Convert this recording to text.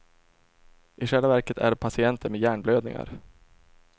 I själva verket är de patienter med hjärnblödningar.